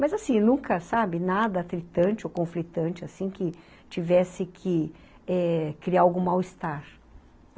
Mas, assim, nunca, sabe, nada atritante ou conflitante, assim, que tivesse que é criar algum mal-estar.